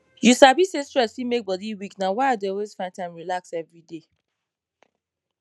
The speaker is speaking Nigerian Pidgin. you sabi say stress fit make body weak na why i dey always find time relax every day